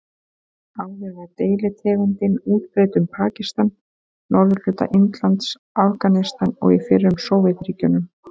Áður var deilitegundin útbreidd um Pakistan, norðurhluta Indlands, Afganistan og í fyrrum Sovétríkjunum.